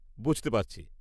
-বুঝতে পারছি।